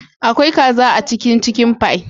Akwai kaza a cikin " chicken pie"